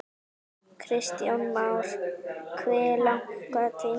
Kristján Már: Hve langan tíma?